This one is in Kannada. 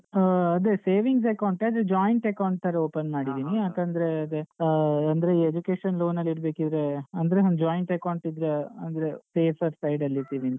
ಹಾ ಅದೆ savings account ಎ ಆದ್ರೆ joint account ತರ open ಮಾಡಿದ್ದೀನಿ ಯಾಕಂದ್ರೇ ಅದೇ ಆ ಅಂದ್ರೆ ಈ education loan ಅಲ್ಲಿ ಇಡ್ಬೇಕಿದ್ರೇ ಅಂದ್ರೆ ಒಂದ್ joint account ಇದ್ರೇ ಅಂದ್ರೆ safer side ಅಲ್ಲಿ ಇರ್ಥಿವಿಂತ